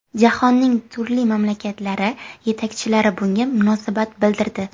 Jahonning turli mamlakatlari yetakchilari bunga munosabat bildirdi.